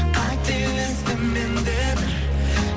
қателестім мен де бір